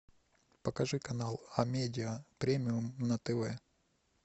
покажи канал амедиа премиум на тв